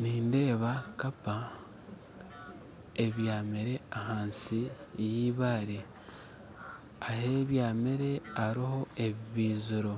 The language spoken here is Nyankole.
Nindeeba kapa ebyamire ahansi y'eibaare ahu ebyamire hariho ebibaiziro